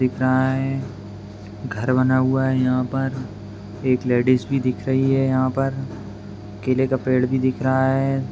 दिख रहा है घर बना हुआ है यहां पर एक लेडिस भी दिख रही है यहां पर केले का पेड़ भी दिख रहा है।